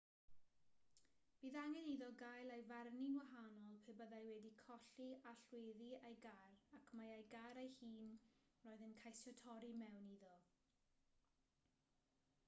byddai angen iddo gael ei farnu'n wahanol pe byddai wedi colli allweddi ei gar ac mai ei gar ei hun roedd e'n ceisio torri i mewn iddo